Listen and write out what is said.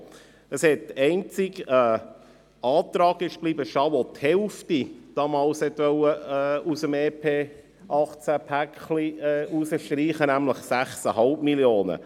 Es blieb damals einzig ein Antrag bestehen, der die Hälfte aus dem EP-2018-Päckchen herausstreichen wollte, nämlich 6,5 Mio. Franken.